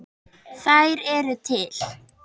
Þær eru til.